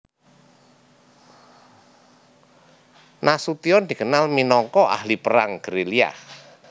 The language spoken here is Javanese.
Nasution dikenal minangka ahli perang gerilya